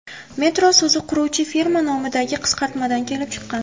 Metro so‘zi quruvchi firma nomidagi qisqartmadan kelib chiqqan.